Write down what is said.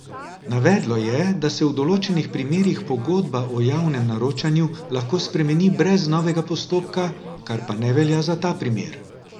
Navedlo je, da se v določenih primerih pogodba o javnem naročilu lahko spremeni brez novega postopka, kar pa ne velja za ta primer.